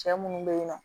Cɛ munnu be yen nɔ